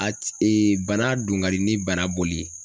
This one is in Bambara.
A bana don ka di ni bana bɔli ye.